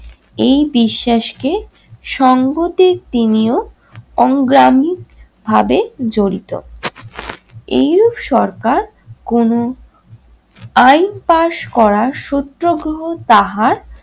এই বিশ্বাসকে সংগতিক তিনিও অংগ্ৰামীক ভাবে জড়িত। এইরূপ সরকার কোনো আইন pass করা সত্যাগ্রহ তাহার